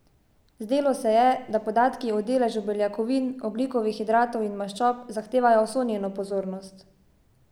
Zdelo se je, da podatki o deležu beljakovin, ogljikovih hidratov in maščob zahtevajo vso njeno pozornost.